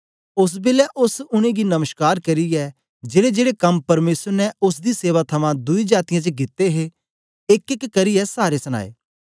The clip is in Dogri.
ओस बेलै ओस उनेंगी नमश्कार करियै जेड़ेजेड़े कम परमेसर ने ओसदी सेवा थमां दुई जातीयें च कित्ते हे एकएक करियै सारे सनाए